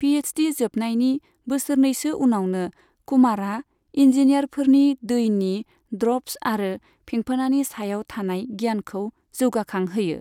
पिएइसडि जोबनायनि बोसोरनैसो उनावनो कुमारआ इन्जिनियारफोरनि दैनि ड्रप्स आरो फेंफोनानि सायाव थानाय गियानखौ जौगाखांहोयो।